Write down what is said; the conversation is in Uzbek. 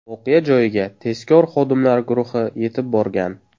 Voqea joyiga tezkor xodimlar guruhi yetib borgan.